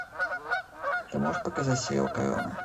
ты можешь показать сериал корона